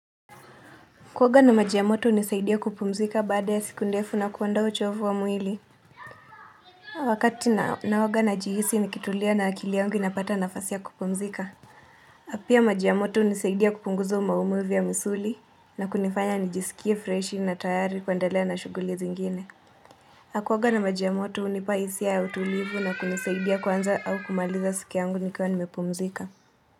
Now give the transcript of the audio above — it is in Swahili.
Kuoga na maji ya moto hunisaidia kupumzika baada ya siku ndefu na kuondoa uchovu wa mwili. Wakati naoga najihisi nikitulia na akili yangu inapata nafasi ya kupumzika. Pia maji ya moto hunisaidia kupunguza maumivu ya misuli na kunifanya nijiskie freshi na tayari kuendelea na shughuli zingine. Kuoga na majia moto hunipa hisia ya utulivu na kunisaidia kuanza au kumaliza siku yangu nikiwa nimepumzika.